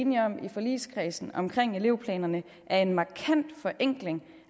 enige om i forligskredsen omkring elevplanerne er en markant forenkling